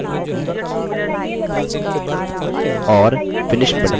और finish button पर click करें